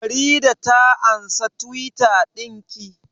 Farida ta ansa Tiwit ɗin ki?